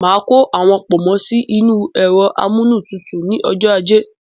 Má kó àwọn pọ̀nmọ́ sì inú ẹ̀rọ amúnútutù ni ọjọ́ ajé